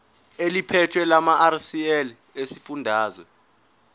eliphethe lamarcl esifundazwe